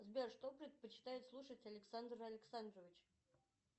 сбер что предпочитает слушать александр александрович